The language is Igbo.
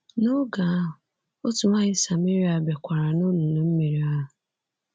N’oge ahụ, otu nwanyị Samaria bịakwara n’olulu mmiri ahụ.